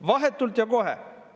Vahetult ja kohe!